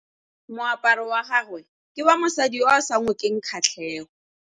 Moaparô wa gagwe ke wa mosadi yo o sa ngôkeng kgatlhegô.